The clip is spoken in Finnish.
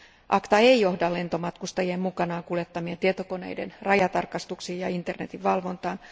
ACTA ei johda lentomatkustajien mukanaan kuljettamien tietokoneiden rajatarkastuksiin ja internetin valvontaan.